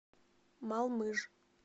малмыж